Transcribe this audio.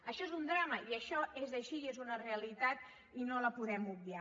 això és un drama i això és així i és una realitat i no la podem obviar